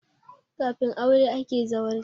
Kafin aure ake zawarci